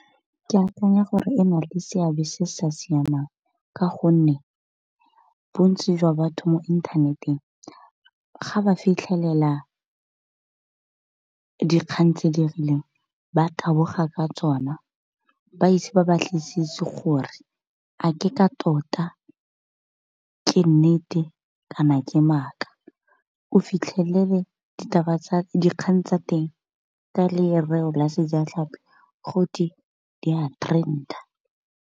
Ke akanya gore e na le seabe se sa siamang ka gonne bontsi jwa batho mo inthaneteng ga ba fitlhelela dikgang tse di rileng ba taboga ka tsona ba ise ba batlisisi gore a ke ka tota ke nnete kana ke maaka, o fitlhelele dikgang tsa teng ke lereo la sejatlhapi gote di a trender.